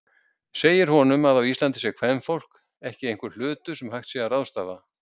Segir honum að á Íslandi sé kvenfólk ekki einhver hlutur sem hægt sé að ráðstafa.